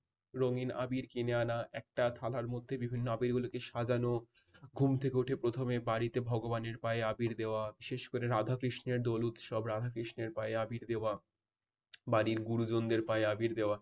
রঙিন আবির কিনে আনা একটা থালার মধ্যে বিভিন্ন আবিরগুলোকে সাজানো ঘুম থেকে উঠে প্রথমে বাড়িতে ভগবানের পায়ে আবির দেওয়া বিশেষ করে রাধা কৃষ্ণের দোল উৎসব রাধা কৃষ্ণের পায়ে আবির দেওয়া। বাড়ির গুরুজনদের পায়ে আবির দেওয়া